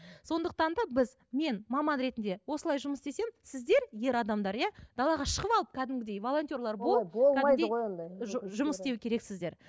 сондықтан да біз мен маман ретінде осылай жұмыс істесем сіздер ер адамдар иә далаға шығып алып кәдімгідей волонтер болып жұмыс істеу керексіздер